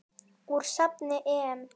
Úr safni EM.